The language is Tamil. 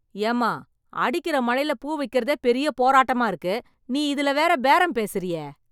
ஏம்மா அடிக்கிற மழைல பூ விக்கிறதே பெரிய போராட்டமா இருக்கு. நீ இதுல வேற பேரம் பேசுறியே.